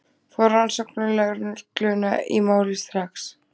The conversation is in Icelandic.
Fá rannsóknarlögregluna í málið strax.